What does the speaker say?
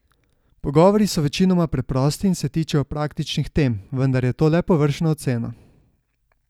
Pogovori so večinoma preprosti in se tičejo praktičnih tem, vendar je to le površna ocena.